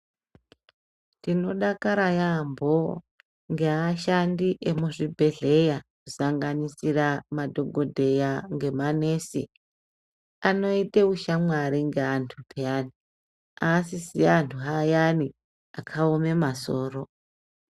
Tinodakara yamho ngeashandi emuzvibhedhleya, kusanganisira madhokodheya ngemanesi anoita ushamwari ngeantu payani asisiri antu ayani akaoma soro.